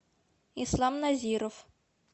ислам назиров